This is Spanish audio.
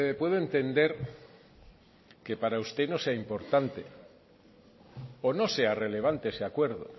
puedo entender que para usted no sea importante o no sea relevante ese acuerdo